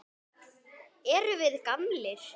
Erum við gamlir?